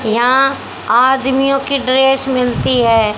यहां आदमियों की ड्रेस मिलती है।